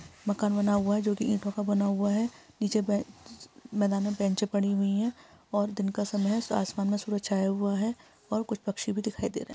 मकान बना हुआ है जो कि ईंटो का बना हुआ है नीचे बे मैदान में बेंचे पड़ी हुई है और दिन का समय है आसमान में सूरज छाया हुआ है और कुछ पक्षी भी दिखाई दे रहे है।